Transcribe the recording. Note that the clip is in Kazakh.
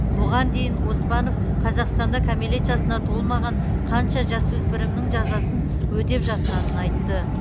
бұған дейін оспанов қазақстанда кәмелет жасына толмаған қанша жасөспірімнің жазасын өтеп жатқанын айтты